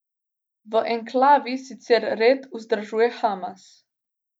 V enklavi sicer red vzdržuje Hamas.